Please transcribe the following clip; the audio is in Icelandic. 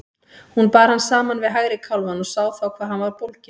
Hún bar hann saman við hægri kálfann og sá þá hvað hann var bólginn.